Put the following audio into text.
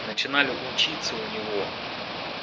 начинали учиться у него